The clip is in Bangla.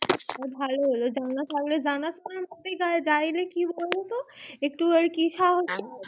ভালো হলো জানাথাকলে কি হয় বোলো তো একটু আর কি সাহস